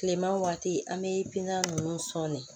Tilema waati an bɛ binkan ninnu sɔnni